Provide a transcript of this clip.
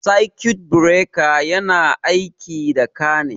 Sakut bireka yana aiki da ka ne